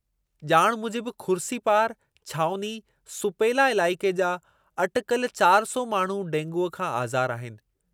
ॼाण मूजिबि खुर्सीपार, छावनी, सुपेलाइलाइक़े जा अटिकल चारि सौ माण्हू डेंगूअ खां आज़ारु आहिनि।